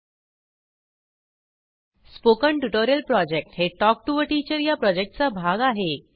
spoken tutorial project हे talk to teacher या प्रॉजेक्टचा भाग आहे